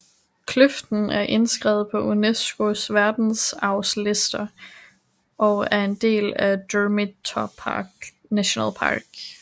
Kløften er indskrevet på UNESCOs verdensarvsliste og er en del af Durmitor Nationalpark